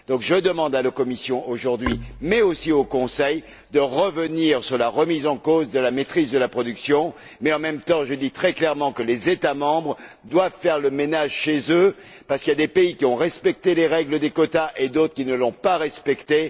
Je demande donc à la Commission aujourd'hui, mais aussi au Conseil, de revenir sur la remise en cause de la maîtrise de la production, mais en même temps, je dis très clairement que les États membres doivent faire le ménage chez eux parce qu'il y a des pays qui ont respecté les règles des quotas et d'autres qui ne les ont pas respectées.